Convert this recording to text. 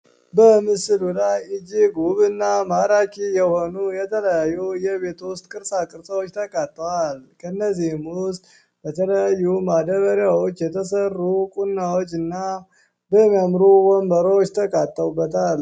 በምስሉ ላይ እጅግ ውብና ማራኪ የሆነ የተለያዩ የቤቱ ውስጥ ቅርፃ ቅርፆች ተቀምጠዋል እንደዚሁም በተለያዩ ማዳበሪያዎች የተሰሩ ቁናዎችና የሚያምር ወንበሮች ተካተውበታል።